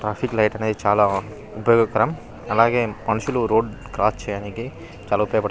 traffic lights అనేది చాల ఉపయోగకరం అలాగే మనుషులు రోడ్ క్రాస్ చేయడానికి చాల ఉపయోగపడు --